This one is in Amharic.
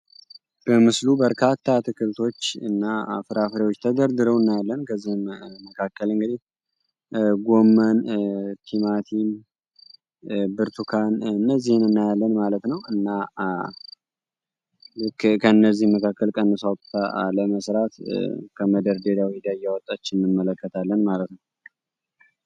በምስሉ በርካታ ትክልቶች እና ፍራፍሪዎች ተደርድረው እናያለን ከዚህ መካከል እንግዲህ ጎመን ቲማቲም ብርቱካን እነዚህን እናያለን ማለት ነው። እና ከእነዚህ መካከል ቀንሳ ለመስራት ከመደርዴሪያ እያወጣች እንመለከታለን ማለት ነው።